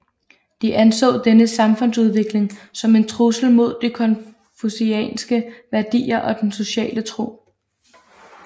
De anså denne samfundsudvikling som en trussel mod de konfucianske værdier og den sociale ro